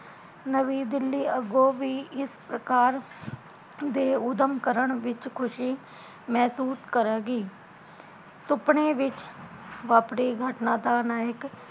ਨਵੀਂ ਦਿੱਲੀ ਅੱਗੋਂ ਵੀ ਇਸ ਪ੍ਰਕਾਰ ਦੇ ਉਦਮ ਕਰਨ ਵਿੱਚ ਖੁਸ਼ੀ ਮਹਿਸੂਸ ਕਰਾਂਗੀ ਸੁਪਨੇ ਵਿੱਚ ਆਪਣੀ ਗਟਣਾ ਦਾ ਨਾਇਕ